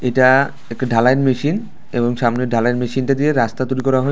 এটা একটা ঢালাইয়ের মেশিন এবং সামনের ঢালাইয়ের মেশিনটা দিয়ে রাস্তা তৈরি করা হবে--